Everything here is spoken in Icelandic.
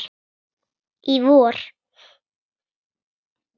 Í vor.